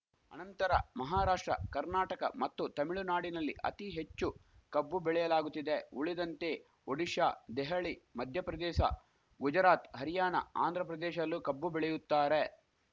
ಅನಂತರ ಮಹಾರಾಷ್ಟ್ರ ಕರ್ನಾಟಕ ಮತ್ತು ತಮಿಳುನಾಡಿನಲ್ಲಿ ಅತಿ ಹೆಚ್ಚು ಕಬ್ಬು ಬೆಳೆಯಲಾಗುತ್ತಿದೆ ಉಳಿದಂತೆ ಒಡಿಶಾ ದೆಹಳಿ ಮಧ್ಯಪ್ರದೇಸ ಗುಜರಾತ್‌ ಹರಿಯಾಣ ಆಂಧ್ರ ಪ್ರದೇಶಲ್ಲೂ ಕಬ್ಬು ಬೆಳೆಯುತ್ತಾರೆ